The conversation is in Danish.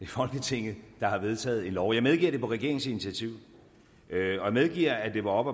folketinget der har vedtaget en lov jeg medgiver at det på regeringens initiativ jeg medgiver at det var op